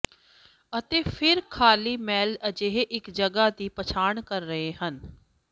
ਅਤੇ ਫਿਰ ਖਾਲੀ ਸੈੱਲ ਅਜਿਹੇ ਇੱਕ ਜਗ੍ਹਾ ਦੀ ਪਛਾਣ ਕਰ ਰਹੇ ਹਨ